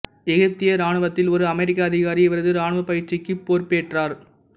எகிப்திய இராணுவத்தில் ஒரு அமெரிக்க அதிகாரி இவரது இராணுவப் பயிற்சிக்கு பொறுப்பேற்றார்